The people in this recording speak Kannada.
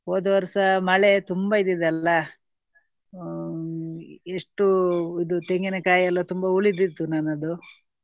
ಹೋದ ವರ್ಷ ಮಳೆ ತುಂಬಾ ಇದ್ದದ್ದಲ್ಲಾ. ಹ್ಮ್ ಎಷ್ಟೋ ಇದು ತೆಂಗಿನಕಾಯಿ ಎಲ್ಲಾ ತುಂಬಾ ಉಳಿದಿತ್ತು ನನ್ನದು.